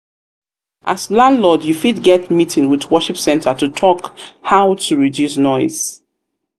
landlord you fit get meeting with worship centre to talk how to reduce noise